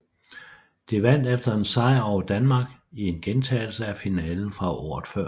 De vandt efter en sejr over Danmark i en gentagelse af finalen fra året før